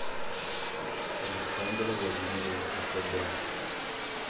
александр владимирович акобян